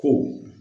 Ko